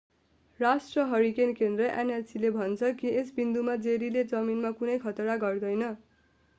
राष्ट्रिय हरिकेन केन्द्र nhc ले भन्छ कि यस बिन्दुमा जेरीले जमिनमा कुनै खतरा गर्दैन।